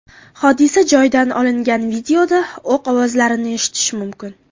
Hodisa joyidan olingan videoda o‘q ovozlarini eshitish mumkin.